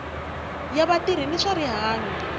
ya vatirhi va swa rihanyo